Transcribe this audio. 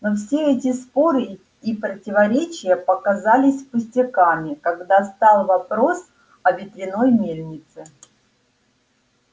но все эти споры и противоречия показались пустяками когда встал вопрос о ветряной мельнице